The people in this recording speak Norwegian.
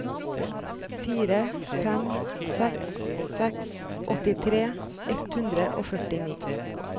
fire fem seks seks åttitre ett hundre og førtini